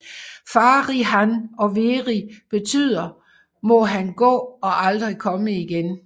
Fari hann og veri betyder må han gå og aldrig komme igen